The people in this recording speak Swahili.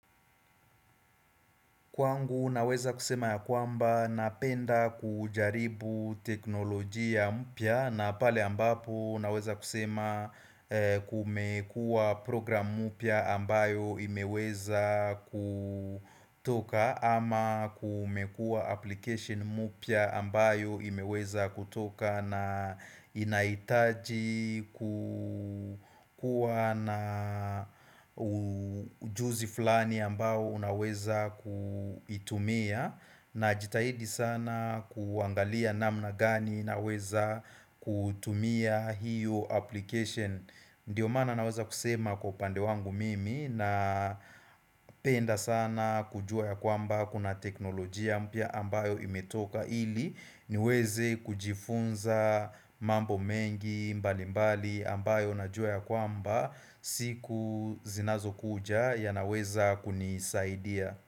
Kwangu naweza kusema ya kwamba napenda kujaribu teknolojia mpya na pale ambapo naweza kusema kumekua program mpya ambayo imeweza kutoka ama kumekua application mupia ambayo imeweza kutoka na inaitaji kukua na ujuzi flani ambao unaweza kuitumia Najitahidi sana kuangalia namna gani naweza kutumia hiyo application Ndiyo mana naweza kusema kwa upande wangu mimi napenda sana kujua ya kwamba kuna teknolojia mpia ambayo imetoka ili niweze kujifunza mambo mengi mbalimbali ambayo na jua ya kwamba siku zinazokuja yanaweza kunisaidia.